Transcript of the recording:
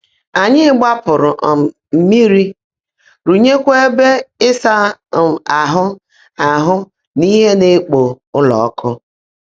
Ányị́ gbàpú́rú um mmị́rí, rụ́nyékwá ébè ị́sá um áhụ́ áhụ́ nà íhe ná-èkpó ụ́lọ́ ọ́kụ́.